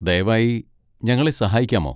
ദയവായി ഞങ്ങളെ സഹായിക്കാമോ?